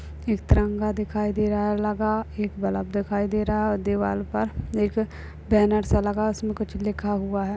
एक तिरंगा दिखाई दे रहा है एक बल्ब दिखाई दे रहा है दीवाल पर एक बैनर सा लगा है उसमें कुछ लिखा हुआ है।